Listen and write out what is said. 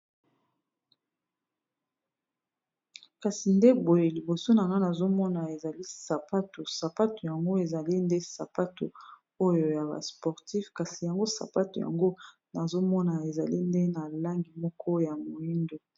kasi nde boye liboso na na nazomona ezali sapato sapato yango ezali nde sapato oyo ya ba sportif kasi yango sapato yango nazomona ezali nde na langi moko ya moindo